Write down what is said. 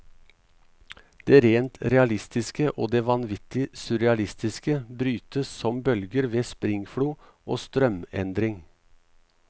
Det rent realistiske og det vanvittig surrealistiske brytes som bølger ved springflo og strømendring.